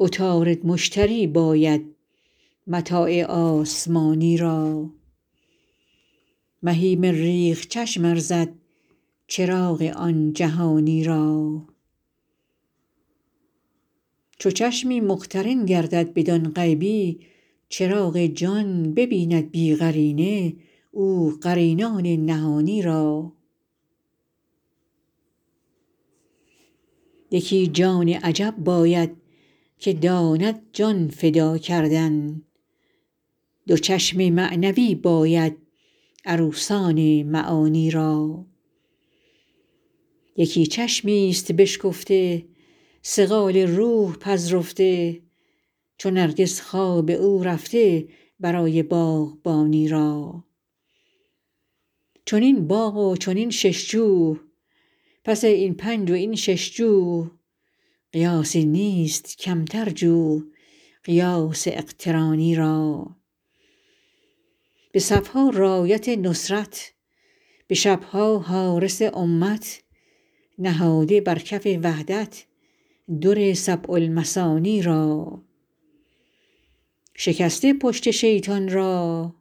عطارد مشتری باید متاع آسمانی را مهی مریخ چشم ارزد چراغ آن جهانی را چو چشمی مقترن گردد بدان غیبی چراغ جان ببیند بی قرینه او قرینان نهانی را یکی جان عجب باید که داند جان فدا کردن دو چشم معنوی باید عروسان معانی را یکی چشمی ست بشکفته صقال روح پذرفته چو نرگس خواب او رفته برای باغبانی را چنین باغ و چنین شش جو پس این پنج و این شش جو قیاسی نیست کمتر جو قیاس اقترانی را به صف ها رأیت نصرت به شب ها حارس امت نهاده بر کف وحدت در سبع المثانی را شکسته پشت شیطان را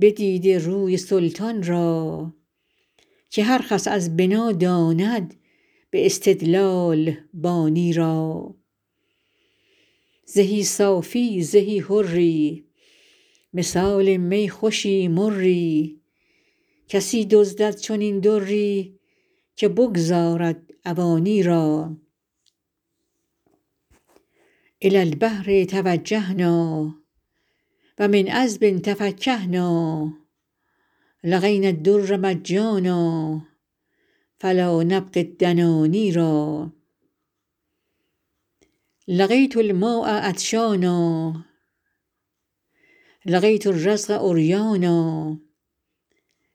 بدیده روی سلطان را که هر خس از بنا داند به استدلال بانی را زهی صافی زهی حری مثال می خوشی مری کسی دزدد چنین دری که بگذارد عوانی را إلى البحر توجهنا و من عذب تفکهنا لقينا الدر مجانا فلا نبغي الدناني را لقيت الماء عطشانا لقيت الرزق عريانا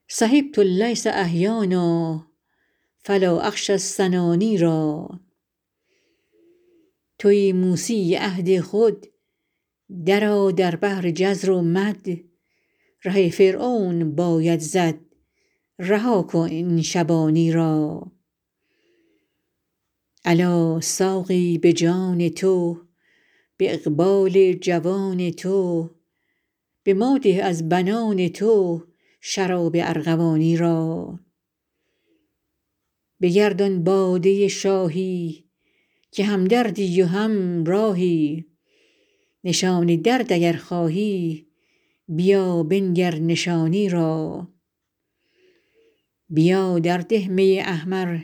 صحبت الليث أحيانا فلا أخشى السناني را توی موسی عهد خود درآ در بحر جزر و مد ره فرعون باید زد رها کن این شبانی را الا ساقی به جان تو به اقبال جوان تو به ما ده از بنان تو شراب ارغوانی را بگردان باده شاهی که همدردی و همراهی نشان درد اگر خواهی بیا بنگر نشانی را بیا درده می احمر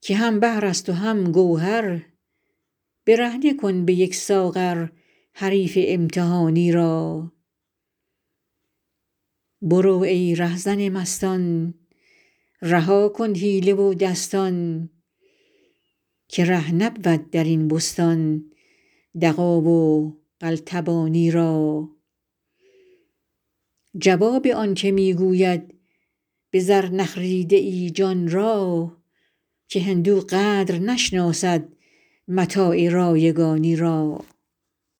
که هم بحر است و هم گوهر برهنه کن به یک ساغر حریف امتحانی را برو ای رهزن مستان رها کن حیله و دستان که ره نبود در این بستان دغا و قلتبانی را جواب آنک می گوید به زر نخریده ای جان را که هندو قدر نشناسد متاع رایگانی را